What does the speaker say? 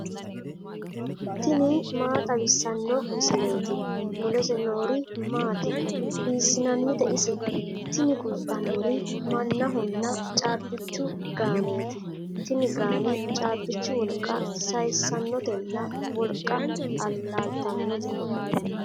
tini maa xawissanno misileeti ? mulese noori maati ? hiissinannite ise ? tini kultannori mannahonna caabbichu gaaneeti tini gaane caabbichu wolqa sayiissanotenna wolqa allaaltannote.